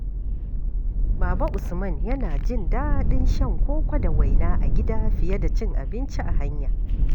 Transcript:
Baba Usman yana jin daɗin shan koko da waina a gida fiye da cin abinci a hanya.